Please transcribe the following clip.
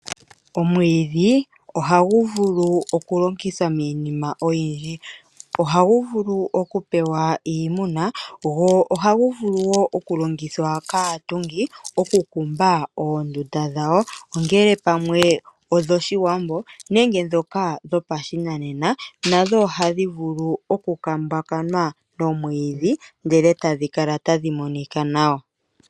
Omwiidhi ohagu vulu okulongithwa miinima oyindji. Ohagu vulu okupewa iimuna go ohagu vulu wo okulongithwa kaatungi okukumba oondunda dhawo. Ongele pamwe odhoshiwambo nenge ndhoka dhopashinanena nadho ohadhi vulu okukumbwa nomwiidhi ndele tadhi kala tadhi monika nawa.